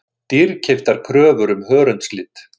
Dýrkeyptar kröfur um hörundslit